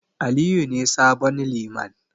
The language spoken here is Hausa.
Aliyu ne sabon Liman.